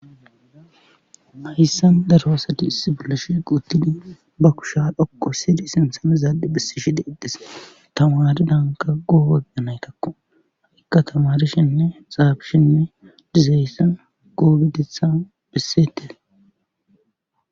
Hayssan daro asati issi bolashe quuttini ba kusha dhokqo sidi sinsamizaadi bissi shi deedes tamaridanka goobaganaykakko haqikka tamarishinne xaabishinne dizayssan goobedetha bisete